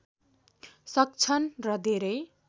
सक्छन् र धेरै